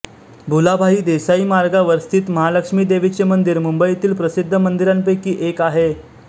भुलाभाई देसाई मार्गावर स्थित महालक्ष्मी देवीचे मंदिर मुंबईतील प्रसिद्ध मंदिरांपैकी एक आहे